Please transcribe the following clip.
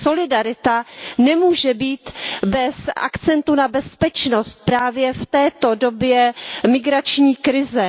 Solidarita nemůže být bez akcentu na bezpečnost, právě v této době migrační krize.